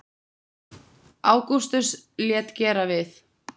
Ágústus lét gera við